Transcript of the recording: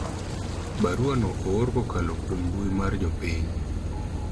barua na oor kokalo kuom mbui mar jopiny